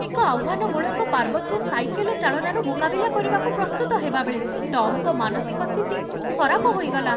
ଏକ ଆହ୍ୱାନମୂଳକ ପାର୍ବତ୍ୟ ସାଇକେଲ ଚାଳନାର ମୁକାବିଲା କରିବାକୁ ପ୍ରସ୍ତୁତ ହେବାବେଳେ ଟମ୍‌ଙ୍କ ମାନସିକ ସ୍ଥିତି ଖରାପ ହୋଇଗଲା।